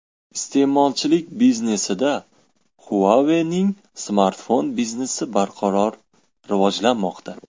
Iste’molchilik biznesida Huawei’ning smartfon biznesi barqaror rivojlanmoqda.